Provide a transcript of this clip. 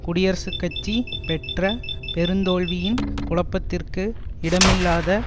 குடியரசுக்கட்சி பெற்ற பெருந்தோல்வியின் குழப்பத்திற்கு இடமில்லாத